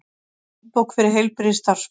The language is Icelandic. Handbók fyrir heilbrigðisstarfsfólk.